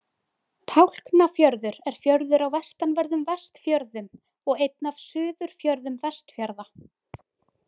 Tálknafjörður er fjörður á vestanverðum Vestfjörðum og einn af Suðurfjörðum Vestfjarða.